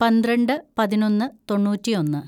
പന്ത്രണ്ട് പതിനൊന്ന് തൊണ്ണൂറ്റിയൊന്ന്‌